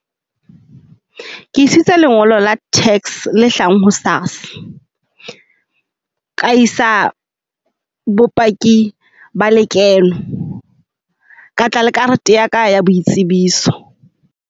Ke isitse lengolo la tax le hlahang ho SARS. Ka isa bopaki ba lekeno, ka tla le karete ya ka ya boitsebiso?